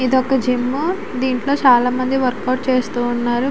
ఇది ఒక జిమ్ . దీంట్లో చాలామంది వర్క్ అవుట్ చేస్తూ ఉన్నారు.